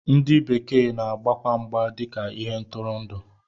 Ndị bekee na-agbakwa mgba dịka ihe ntụrụndụ